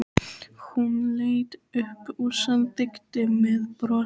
Hún leit upp og samþykkti með brosi.